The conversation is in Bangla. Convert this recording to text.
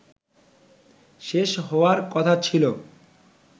শেষ হওয়ার কথা ছিল